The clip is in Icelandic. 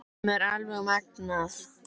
Sem er alveg magnað.